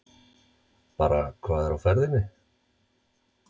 Bara hvað er á ferðinni?